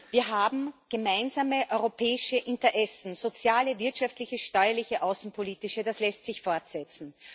Wir haben gemeinsame europäische Interessen soziale, wirtschaftliche, steuerliche und außenpolitische das lässt sich fortsetzen.